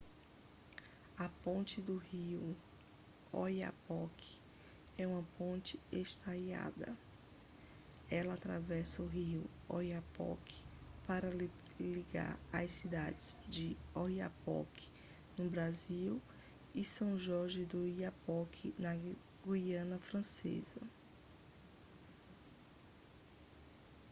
a ponte do rio oiapoque é uma ponte estaiada ela atravessa o rio oiapoque para ligar as cidades de oiapoque no brasil e são jorge do oiapoque na guiana francesa